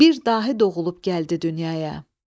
Bir dahi doğulub gəldi dünyaya.